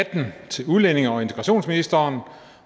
atten til udlændinge og integrationsministeren